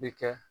Bi kɛ